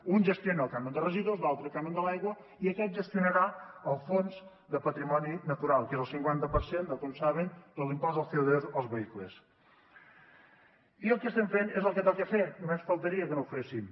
un gestiona el cànon de residus l’altre el cànon de l’aigua i aquest gestionarà el fons de patrimoni natural que és el cinquanta per cent tal com saben de l’impost del coque estem fent és el que toca fer només faltaria que no ho féssim